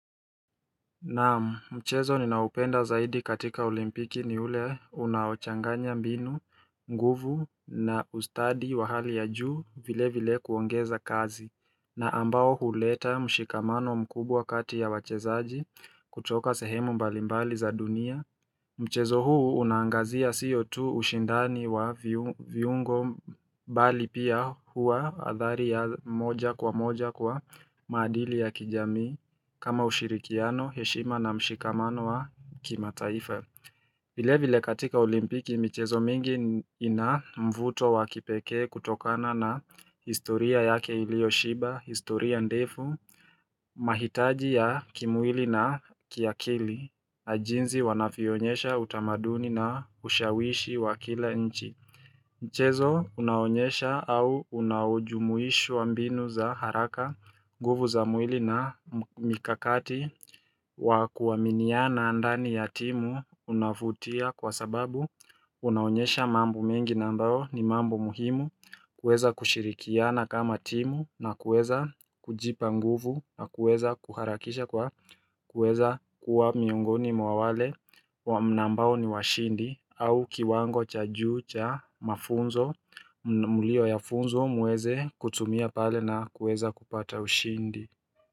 Naam, mchezo ninaupenda zaidi katika olimpiki ni ule unaochanganya mbinu, nguvu na ustadi wa hali ya juu vile vile kuongeza kazi na ambao huleta mshikamano mkubwa kati ya wachezaji kutoka sehemu mbalimbali za dunia Mchezo huu unaangazia siyo tu ushindani wa viungo bali pia hua athari ya moja kwa moja kwa maadili ya kijamii kama ushirikiano, heshima na mshikamano wa kimataifa vile vile katika olimpiki mchezo mingi ina mvuto wa kipeke kutokana na historia yake ilioshiba, historia ndefu, mahitaji ya kimwili na kiakili, jinzi wanavyoonyesha utamaduni na ushawishi wa kila nchi. Mchezo unaonyesha au unaojumuishwa mbinu za haraka nguvu za mwili na mikakati wa kuaminiana ndani ya timu unafutia kwa sababu unaonyesha mambo mengi na ambao ni mambo muhimu kuweza kushirikiana kama timu na kuweza kujipa nguvu na kuweza kuharakisha kwa kuweza kuwa miongoni mwa wale wa ambao ni washindi au kiwango cha juu cha mafunzo mliyo yafunzwa muweze kutumia pale na kuweza kupata ushindi.